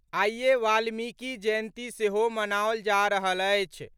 आइए वाल्मिकी जयंती सेहो मनाओल जा रहल अछि।